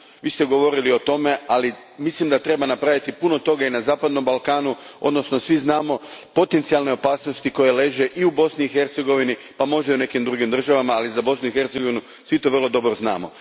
Vi ste govorili o tome, ali mislim da treba napraviti puno toga i na zapadnom Balkanu, odnosno svi znamo potencijalne opasnosti koje leže i u Bosni i Hercegovini, a možda i u nekim drugim državama, ali za Bosnu i Hercegovinu svi to dobro znamo.